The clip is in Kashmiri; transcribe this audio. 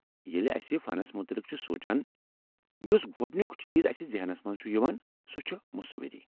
ییٚلہ اَسہِ فنس متعلق چھِ سونٛچان، یُس گۄڈنُیٚک چیٖز اسہ ذہنس منٛز چُھ یوان، سُہ چُھ مصوری۔